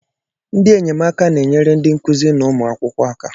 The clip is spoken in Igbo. Ndị enyemaka na-enyere ndị nkụzi na ụmụ akwụkwọ aka.